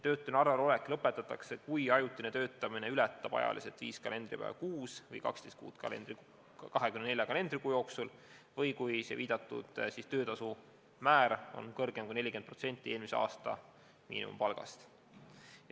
Töötuna arvel olek lõpetatakse, kui ajutine töötamine ületab viis kalendripäeva kuus või 12 kuud 24 kalendrikuu jooksul või kui saadud töötasu on suurem kui 40% eelmise aasta miinimumpalgast.